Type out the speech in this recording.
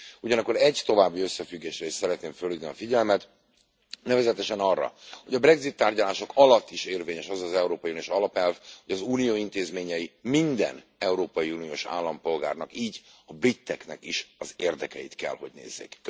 Ugyanakkor egy további összefüggésre is szeretném felhívni a figyelmet nevezetesen arra, hogy a Brexit tárgyalások alatt is érvényes az az európai uniós alapelv, hogy az Unió intézményei minden európai uniós állampolgárnak, így a briteknek is az érdekeit kell, hogy nézzék.